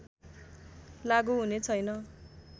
लागू हुनेछैन